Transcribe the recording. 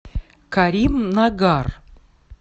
каримнагар